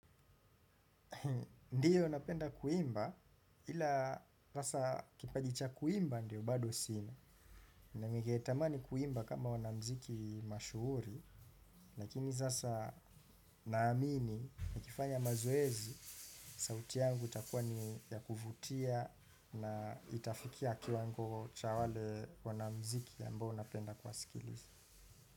Ndiyo napenda kuimba ila sasa kipaji cha kuimba ndio bado sina na ninge tamani kuimba kama wanamziki mashuhuri lakini sasa naamini nikifanya mazoezi sauti yangu itakuwa ni ya kuvutia na itafikia kiwango cha wale wanamuziki ambao napenda kuwasikiliza.